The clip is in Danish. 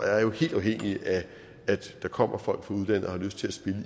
er jo helt afhængigt af at der kommer folk fra udlandet og har lyst til at spille